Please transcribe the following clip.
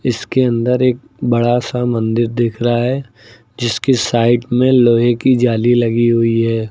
इसके अंदर एक बड़ा सा मंदिर दिख रहा है जिसकी साइड में लोहे की जाली लगी हुई है।